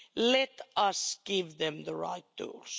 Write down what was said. Let us give them the right tools.